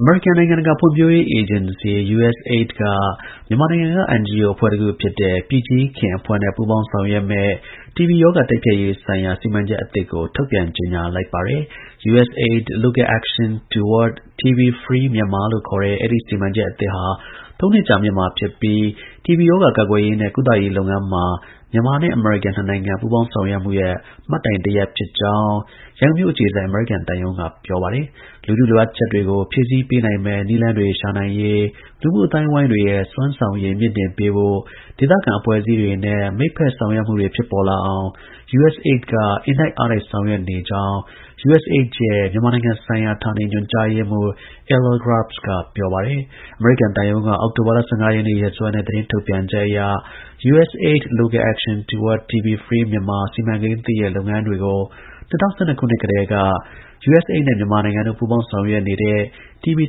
အမေရိကန် နိုင်ငံတကာ ဖွံ့ဖြိုးရေး အေဂျင်စီ (USAID) က မြန်မာနိုင်ငံက NGO အဖွဲ့တစ်ခုဖြစ်တဲ့ ပြည်ကြီးခင်အဖွဲ့နဲ့ ပူးပေါင်း ဆောင်ရွက်မယ့် တီဘီရောဂါတိုက်ဖျက်ရေး ဆိုင်ရာ စီမံချက်သစ်ကို ထုတ်ပြန် ကြေညာလိုက်ပါတယ်။ USAID Local Action Toward TB-Free Myanmar လို့ခေါ်တဲ့ အဲဒီ စီမံချက်အသစ် ဟာ ၃ နှစ်ကြာမြင့်မှာ ဖြစ်ပြီး တီဘီရောဂါ ကာကွယ်ရေးနဲ့ ကုသရေး လုပ်ငန်းမှာ မြန်မာ-အမေရိကန်နှစ်နိုင်ငံ ပူးပေါင်းဆောင်ရွက်မှုရဲ့ မှတ်တိုင်တစ်ရပ် ဖြစ်ကြောင်း ရန်ကုန်မြို့ အခြေစိုက် အမေရိကန် သံရုံးက ပြောပါတယ်။ “လူထုလိုအပ်ချက်တွေကို ဖြည့်ဆည်းပေးနိုင်မယ့် နည်းလမ်းတွေရှာနိုင်ရေး လူမှုအသိုင်းအဝိုင်း တွေရဲ့ စွမ်းဆောင်ရည်မြှင့်တင် ပေး ဖို့ဒေသခံအဖွဲ့အစည်းတွေနဲ့ မိတ်ဖက်ဆောင်ရွက်မှုတွေဖြစ်ပေါ်လာအောင် USAIDက အင်တိုက်အားတိုက်ဆောင်ရွက်နေကြောင်း”USAID ရဲ့ မြန်မာနိုင်ငံဆိုင်ရာ ဌာနေ ညွှန်ကြားရေးမှူး Aler Grubbs က ပြောပါတယ်။ အမေရိကန်သံရုံးက အောက်တိုဘာလ ၁၅ရက်နေ့ ရက်စွဲနဲ့ သတင်းထုတ်ပြန်ချက်အရ USAID Local Action Toward TB-Free Myanmar စီမံကိန်းသစ်ရဲ့ လုပ်ငန်းတွေကို၂၀၁၂ ခုနှစ် ကတည်းက USAID နဲ့ မြန်မာနိုင်ငံတို့ ပူးပေါင်းဆောင်ရွက်နေတဲ့တီဘီ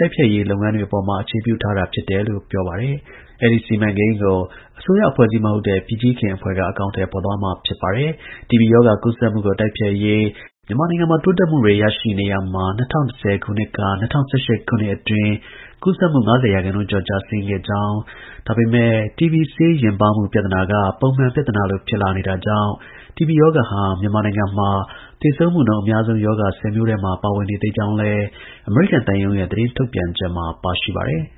တိုက်ဖျက်ရေး လုပ်ငန်းတွေအပေါ်မှာ အခြေပြုထားတာ ဖြစ်ပြီး အစိုးရ အဖွဲ့အစည်း မဟုတ်တဲ့ ပြည်ကြီးခင်အဖွဲ့က အကောင်အထည်သွားမှာ ဖြစ်ပါတယ်။ တီဘီရောဂါ ကူးစက်မှုကို တိုက်ဖျက်ရေး မြန်မာနိုင်ငံမှာ တိုးတက်မှုတွေ ရရှိနေရာမှာ ၂၀၁၀ ခုနှစ်က ၂၀၁၈ ခုနှစ်အတွင်း ကူးစက်မှု ၅၀ ရာခိုင်နှုန်းကျော် ကျဆင်းခဲ့ကြောင်း၊ ဒါပေမဲ့ တီဘီ ဆေးယဉ်ပါးမှု ပြဿနာက ပုံမှန် ပြဿနာလို ဖြစ်နေတာကြောင့် တီဘီ ရောဂါဟာ မြန်မာနိုင်ငံမှာ သေဆုံးမှုနှုန်း အများဆုံး ရောဂါ ၁၀ မျိုးထဲတွင် ပါဝင်နေသးကြောင်းလည်း အမေရိကန် သံရုံးရဲ့ သတင်း ထုတ်ပြန်ချက်မှာ ပါရှိပါတယ်။